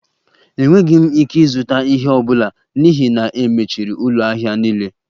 Enweghị m ike ịzụta ihe ọ bụla n'ihi na e mechiri ụlọ ahịa niile